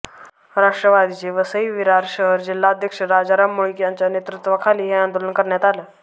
राष्ट्रवादीचे वसई विरार शहर जिल्हाध्यक्ष राजाराम मुळीक यांच्या नेतृत्वाखाली हे आंदोलन करण्यात आलं